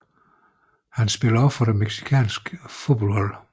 Han spiller også for det mexicanske fodboldlandshold